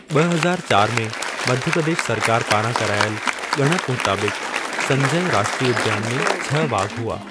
ॿ हज़ार चार में मध्य प्रदेश सरकार पारां करायल ॻणपु मुताबिक़ि, संजय राष्ट्रीय उद्यान में छह वाघ हुआ।